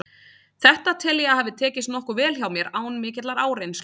Þetta tel ég að hafi tekist nokkuð vel hjá mér, án mikillar áreynslu.